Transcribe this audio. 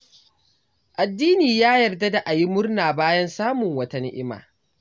Addini ya yarda da a yi murna bayan samun wata ni'ima.